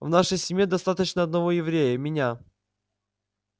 в нашей семье достаточно одного еврея меня